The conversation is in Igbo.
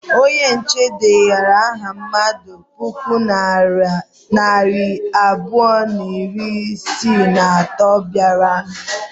Onye nche dedara aha mmadụ puku na narị abụọ na iri isii na atọ bịara.